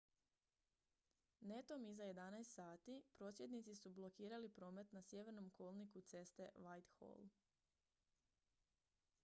netom iza 11:00 h prosvjednici su blokirali promet na sjevernom kolniku ceste whitehall